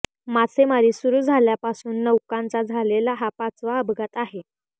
मासेमारी सुरू झाल्यापासून नौकांचा झालेला हा पाचवा अपघात आहे